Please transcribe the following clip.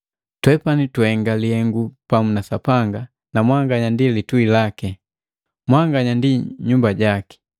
Twepani tuhenga lihengu pamu na Sapanga na mwanganya ndi lituhi laki. Mwanganya ndi nyumba jaki.